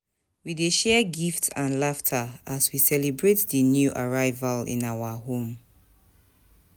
We dey share gifts and laughter as we celebrate the new arrival in our home.